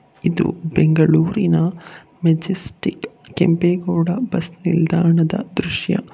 ಇದು ಬೆಂಗಳೂರಿನ Majestic Kempegowda bus ನಿಲ್ದಾಣದ ದೃಶ್ಯ.